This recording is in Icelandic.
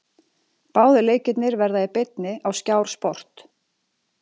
Báðir leikirnir verða í beinni á Skjár Sport.